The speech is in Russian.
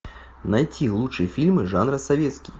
найти лучшие фильмы жанра советский